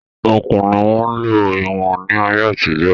Okùn ni wọ́n ń lò fún iwọ̀n ní ayé àtijọ́